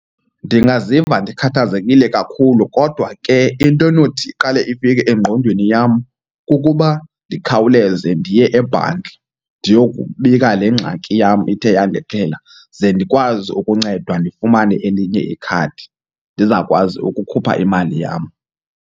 Ndingaziva ndikhathazekile kakhulu kodwa ke into enothi iqale ifike engqondweni yam kukuba ndikhawuleze ndiye abanki ndiyokubika le ngxaki yam ithe yandehlela. Ze ndikwazi ukuncedwa ndifumane elinye ikhadi ndizawukwazi ukukhupha imali yam.